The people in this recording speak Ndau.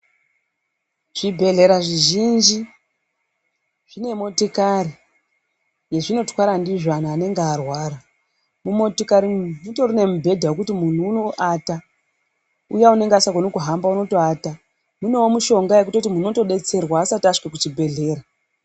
Zvibhedhlera zvizhinji zvine motikari yazvinotwara ndizvo anhu anenge arwara, mumotikari umu mutorine mubhedha wekuti kana munhu unoata uya anenge asingagoni kuhamba unotoata ,munewo mushonga yekuti munhu unotodetserwa asati asvike kuchibhedhlera.